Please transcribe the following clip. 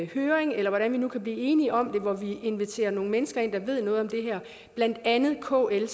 høring eller hvad vi nu kan blive enige om hvor vi inviterer nogle mennesker ind der ved noget om det her blandt andet kl